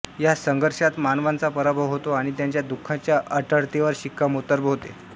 या संघर्षात मानवाचा पराभव होतो आणि त्याच्या दुःखाच्या अटळतेवर शिक्कामोर्तब होते